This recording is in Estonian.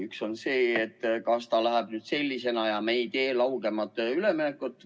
Üks on see, et aktsiis püsib sellisena ja me ei tee laugemat üleminekut.